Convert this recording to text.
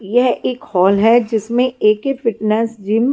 यह एक हॉल है जिसमें ए के फिटनेस जिम --